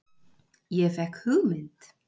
Ég fékk hugmynd.